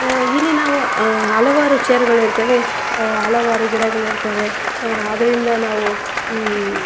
ಆ ಇಲ್ಲಿ ನಾವು ಆ ಹಲವಾರು ಚೇರ್ ಗಳಿರ್ತವೆ ಹಲವಾರು ಗಿಡಗಳಿರ್ತವೆ ಆ ಅದರಿಂದ ನಾವು ಹಮ್.